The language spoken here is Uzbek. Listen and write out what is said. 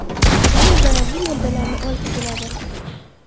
Chang zararli moddalarni olib keladi.